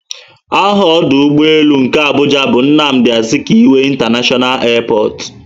Aha ọdụ ụgbọelu nke Abuja bu "Nnamdi Azikiwe International airport"